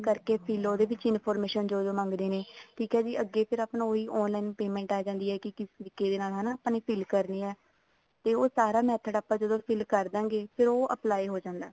ਕਰਕੇ fill ਉਹਦੇ ਵਿੱਚ information ਜੋ ਜੋ ਮੰਗਦੇ ਨੇ ਠੀਕ ਆ ਜੀ ਅੱਗੇ ਫ਼ੇਰ ਉਹੀ online payment ਆ ਜਾਂਦੀ ਆ ਵੀ ਕਿਸ ਤਰੀਕੇ ਦੇ ਨਾਲ ਹਨਾ fill ਕਰ ਦੇਣੀ ਹੈ ਤੇ ਉਹ ਸਾਰਾ method ਆਪਾਂ ਜਦੋਂ fill ਕਰ ਦਵਾਂਗੇ ਉਹ apply ਹੋ ਜਾਂਦਾ